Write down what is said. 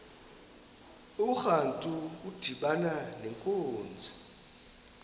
urantu udibana nenkunzi